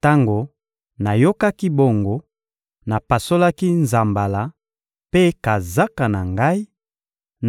Tango nayokaki bongo, napasolaki nzambala mpe kazaka na ngai,